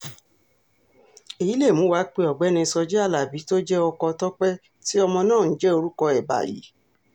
èyí ló mú wa pé ọ̀gbẹ́ni sójì alábí tó jẹ́ ọkọ tọ́pẹ́ tí ọmọ náà ń jẹ́ orúkọ ẹ̀ báyìí